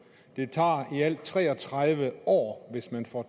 det tager i alt tre og tredive år hvis man får